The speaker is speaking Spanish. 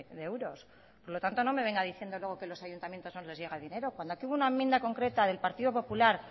de euros por lo tanto no me venga diciendo luego que a los ayuntamientos no les llega dinero cuando aquí hubo una enmienda concreta del partido popular